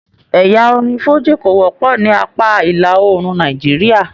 Ẹyà orin fújì ko wọpọ ní apá ìlà oòrùn Nàìjíríà.